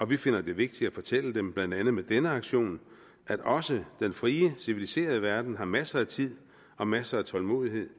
vi finder det vigtigt at fortælle dem blandt andet med denne aktion at også den frie civiliserede verden har masser af tid og masser af tålmodighed